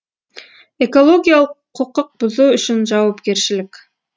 экологиялық құқық бұзу үшін жауапкершілік